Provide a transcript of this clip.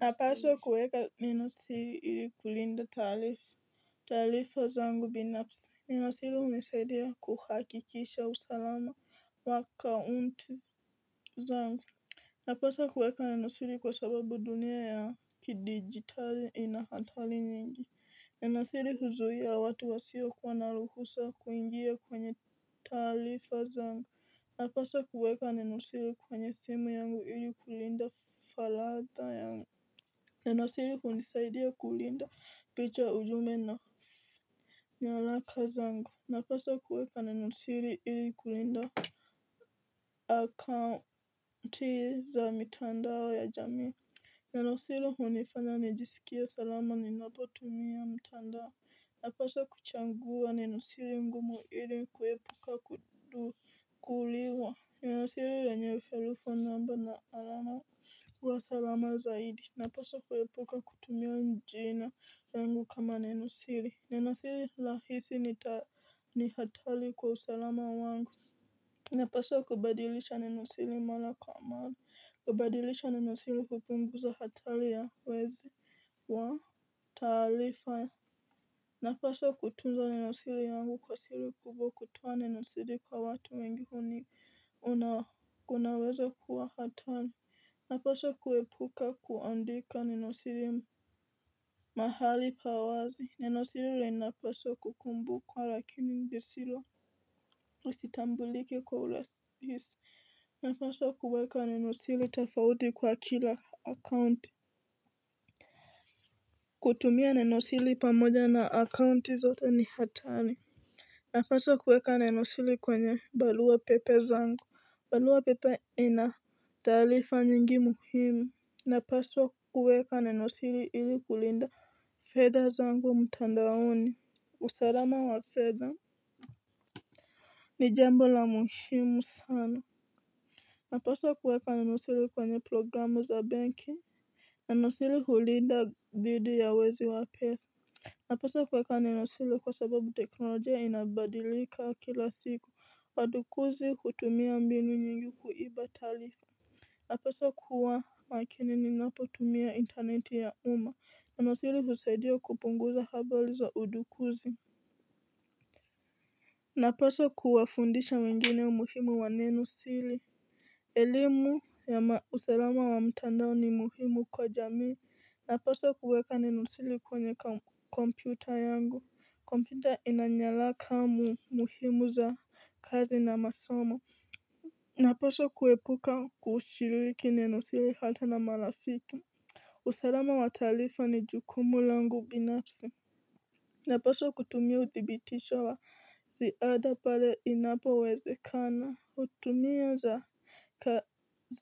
Napaswa kuweka neno siri ili kulinda taarifa zangu binafsi. Nenosiri hunisaidia kuhakikisha usalama wa kaunti zangu. Napaswa kuweka nenosiri kwa sababu dunia ya kidigitali inahantari nyingi. Nenosiri huzuia watu wasiokuwa na ruhusa kuingia kwenye taarifa zangu. Napaswa kuweka nenosiri kwenye simu yangu ili kulinda falada yangu. Nenosiri hunisaidia kulinda picha, ujumbe na nyalaka zangu. Napaswa kuweka nenosiri ili kulinda. Akaunti za mitandao ya jamii. Nenosiri hunifanya nijisikie salama ninapotumia mtandao. Napaswa kuchangua nenosiri ngumu ili kuepuka kudukuliwa. Nenosiri lenye herufi, namba na alama. Huwa salama zaidi. Napaswa kuepuka kutumia jina langu kama nenosiri. Nenosiri rahisi ni, ni hatari kwa usalama wangu. Napaswa kubadilisha nenosiri mara kwa mara. Kubadilisha nenosiri hupunguza hatari ya wezi wa taarifa. Napaswa kutunza nenosiri yangu kwa siri kubwa. Kutoa nenosiri kwa watu wengi huni, unaweza kuwa hatari. Napaswa kuepuka kuandika nenosiri. Mahali pa wazi. Nenosiri linapaswa kukumbukwa lakini lisitambulike kwa urahisi. Napaswa kuweka nenosiri tofauti kwa kila akaunti. Kutumia nenosiri pamoja na akaunti zote ni hatari. Napaswa kuweka nenosiri kwenye barua pepe zangu. Barua pepe inataarifa nyingi muhimu, napaswa kuweka nenosiri ili kulinda fedha zangu wa mutandaoni, usalama wa fedha. Ni jambo la muhimu sana. Napaswa kuweka nenosiri kwenye programu za banki. Nenosiri sili kulinda dhidi ya wezi wa pesa. Napaswa kuweka nenosiri kwa sababu teknolojia inabadilika kila siku. Wadukuzi hutumia mbinu nyingi kuiba taarifa. Napaswa kuwa makini ninapotumia intaneti ya umma. Nenosiri husaidia kupunguza habari za udukuzi. Napaswa kuwafundisha wengine umuhimu wa nenosiri. Elimu ya usalama wa mtandao ni muhimu kwa jamii. Napaswa kuweka nenosiri kwenye kompyuta yangu. Kompyuta inanyaraka muhimu za kazi na masomo. Napaswa kuepuka kushiriki nenosiri hata na marafiki. Usalama wa taarifa ni jukumu langu binafsi. Napaswa kutumia uthibitisho wa ziada pale inapowezekana. Utumia za ka